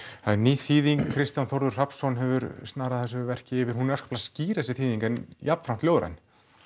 það er ný þýðing Kristján Þórður Rafnsson hefur snarað þessu verki yfir hún er afskaplega skýr þessi þýðing en jafnframt ljóðræn